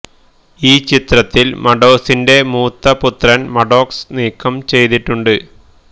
ഈ ചിത്രത്തിൽ മാഡ്ഡോസിന്റെ മൂത്ത പുത്രൻ മാഡ്ഡോക്സ് നീക്കം ചെയ്തിട്ടുണ്ട്